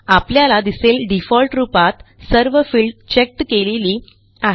आपल्याला दिसेल डिफॉल्ट रूपात सर्व फिल्ड चेक्ड केलेली आहेत